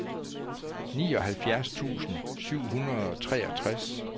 nioghalvfjerds tusind syv hundrede og treogtres